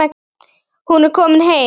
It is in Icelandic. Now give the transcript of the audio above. Hún er komin heim.